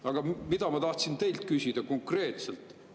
Aga mida ma tahtsin teilt küsida konkreetselt, on see.